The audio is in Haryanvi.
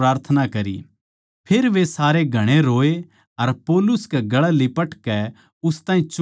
फेर वे सारे घणे रोये अर पौलुस कै गलै लिपटकै उस ताहीं चुम्ण लाग्गे